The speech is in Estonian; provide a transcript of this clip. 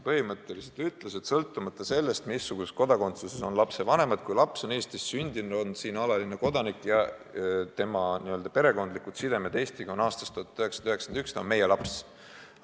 Põhimõtteliselt öeldi, et sõltumata sellest, mis riigi kodakondsuses on lapse vanemad, kui laps on Eestis sündinud, on siin alaline elanik ja tema n-ö perekondlikud sidemed Eestiga olid olemas ka aastal 1991, siis ta on meie laps.